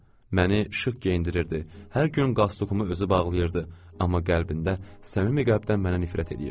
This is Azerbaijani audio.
Düzdür, məni şıq geyindirirdi, hər gün qastokumu özü bağlayırdı, amma qəlbində səmimi qəlbdən mənə nifrət eləyirdi.